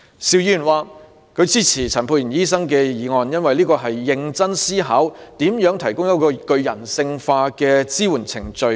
邵議員支持陳沛然醫生的議案，因為那是一個經過認真思考，向性侵受害人提供具人性化支援的程序。